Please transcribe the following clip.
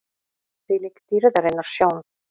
ÞVÍLÍK DÝRÐARINNAR SJÓN!